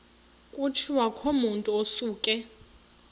kutshiwo kumotu osuke